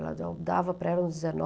Ela dava para ela uns